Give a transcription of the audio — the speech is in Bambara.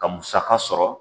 Ka musaka sɔrɔ.